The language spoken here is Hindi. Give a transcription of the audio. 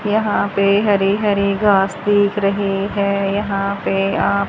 यहां पे हरे हरे घास दिख रहे हैं यहां पे आप--